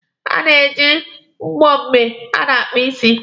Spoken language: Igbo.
A na-eji mbọ mgbe a na-akpa ịsị.